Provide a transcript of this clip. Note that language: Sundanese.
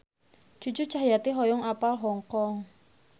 Cucu Cahyati hoyong apal Hong Kong